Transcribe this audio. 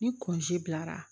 Ni bilara